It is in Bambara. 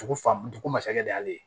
Dugu fan dugu ma sakɛ de y'ale ye